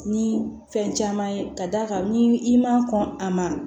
Ni fɛn caman ye ka d'a kan ni i ma kɔn a ma